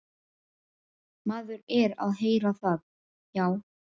Maður er að heyra það, já.